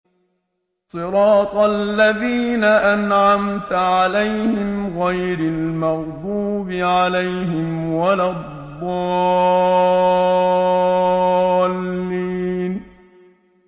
صِرَاطَ الَّذِينَ أَنْعَمْتَ عَلَيْهِمْ غَيْرِ الْمَغْضُوبِ عَلَيْهِمْ وَلَا الضَّالِّينَ